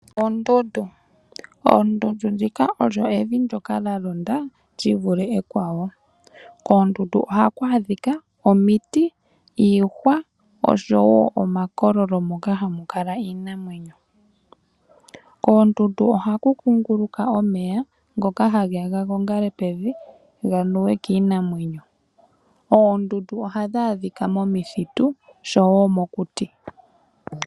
Oondundu odho evi ndyoka lyalonda lyivule ekwawo. Koondundu ohaku adhika omiti , iihwa oshowo omakololo moka hamu kala iinamwenyo . Koondundu ohaku kunguluka omeya ngoka hage ya ga gongale pevi , ga nuwe kiinamwenyo. Oondundu ohadhi adhika momithitu oshowo mokuti.